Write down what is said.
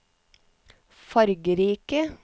fargerike